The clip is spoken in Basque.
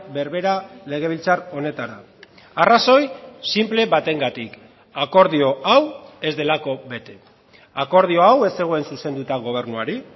berbera legebiltzar honetara arrazoi sinple batengatik akordio hau ez delako bete akordio hau ez zegoen zuzenduta gobernuari